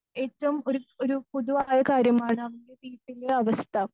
ഏറ്റവും ഒരു ഒരു പൊതുവായ കാര്യമാണ് വീട്ടിലെ അവസ്ഥ.